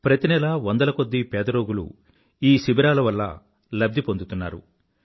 ప్రతి నెలా వందల కొద్దీ పేద రోగులు ఈ శిబిరాల వల్ల లాభ్ధి పొందుతున్నారు